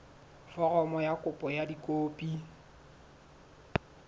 foromo ya kopo ka dikopi